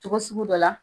Cogo sugu dɔ la